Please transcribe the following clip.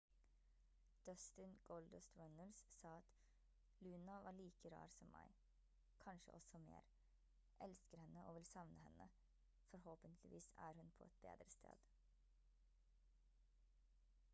dustin «goldust» runnels sa at «luna var like rar som meg...kanskje også mer...elsker henne og vil savne henne...forhåpentligvis er hun på et bedre sted»